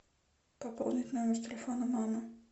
пополнить номер телефона мамы